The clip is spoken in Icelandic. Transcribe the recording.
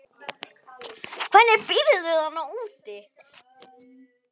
Hvernig býrðu þarna úti?